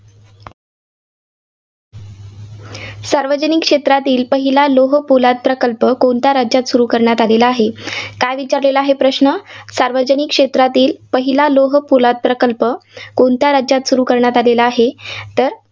सार्वजनिक क्षेत्रातील पहिल्या लोहपोलाद प्रकल्प कोणत्या राज्यात सुरू करण्यात आलेला आहे? काय विचारलेला आहे, प्रश्न सार्वजनिक क्षेत्रातील पहिला लोहपोलाद प्रकल्प कोणत्या राज्यात सुरू करण्यात आलेला आहे? तर